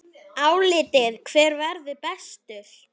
Álitið: Hver verður bestur?